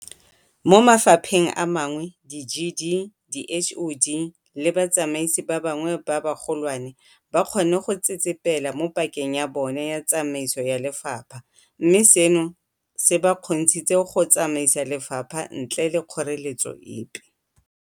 Mo mafapheng a mangwe di-DG, di-HoD le batsamaisi ba bangwe ba bagolwane ba kgonne go tsetsepela mo pakeng ya bona ya tsamaiso ya lefapha, mme seno se ba kgontshitse go tsamaisa lefapha ntle le kgoreletso epe.